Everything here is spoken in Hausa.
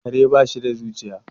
kare ba sh da zuciya